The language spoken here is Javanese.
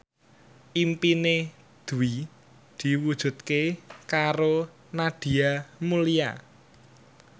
impine Dwi diwujudke karo Nadia Mulya